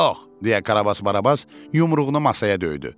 Yox, deyə Karabas Barabas yumruğunu masaya döydü.